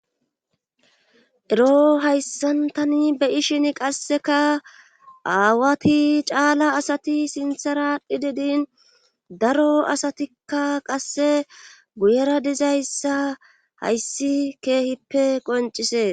Ero hayssantani beyishin qasseka aawati caala asati sintharahdhi didin daro asatikka qasse guyera dizayssa hayssi keehippe qoncisee